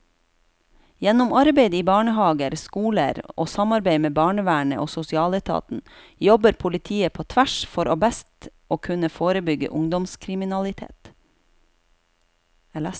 Gjennom arbeid i barnehaver, skoler og samarbeid med barnevernet og sosialetaten jobber politiet på tvers for best å kunne forebygge ungdomskriminalitet.